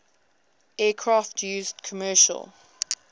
aircraft used commercial